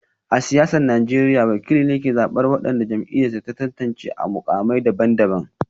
A siyasar Najeriya, wakili ne ke zabar wadanda jam'iyyar za ta tantance a mukamai daban-daban